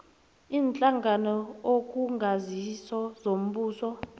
iinhlangano okungasizo zombuso